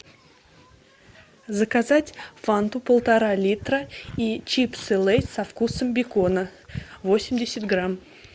заказать фанту полтора литра и чипсы лейс со вкусом бекона восемьдесят грамм